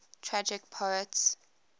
tragic poets